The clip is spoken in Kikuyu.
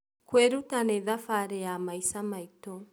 Kũĩruta nĩ thabarĩ ya maisa maitũ